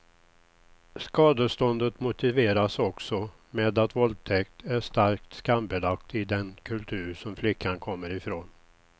Skadeståndet motiveras också med att våldtäkt är starkt skambelagt i den kultur som flickan kommer ifrån.